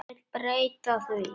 Hún vill breyta því.